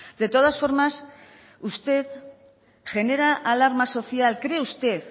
de todas formas usted genera alarma social cree usted